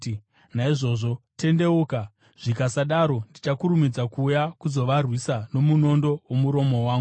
Naizvozvo, tendeuka! Zvikasadaro, ndichakurumidza kuuya kuzovarwisa nomunondo womuromo wangu.